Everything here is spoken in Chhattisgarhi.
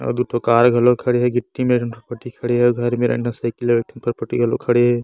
अउ दूठो कार घलो खड़े हे गिट्टी मेरन फटफटी खड़े हे घर मेरन अंदर साइकिले हे एक ठो फटफटी घलो खड़े हे।